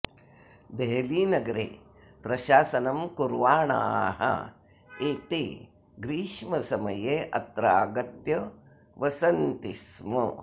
देहलीनगरे प्रशासनं कुर्वाणाः एते ग्रीष्मसमये अत्र आगत्य वसन्ति स्म